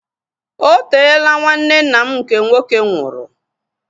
Oteela nwanne nna m nke nwoke nwụrụ